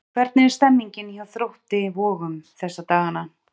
Hvernig er stemmningin hjá Þrótti Vogum þessa dagana?